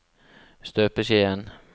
støpeskjeen